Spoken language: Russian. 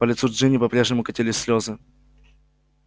по лицу джинни по-прежнему катились слезы